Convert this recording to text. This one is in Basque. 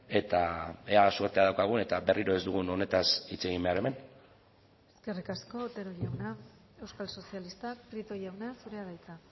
eta ea zortea daukagun eta berriro ez dugun honetaz hitz egin behar hemen eskerrik asko otero jauna euskal sozialistak prieto jauna zurea da hitza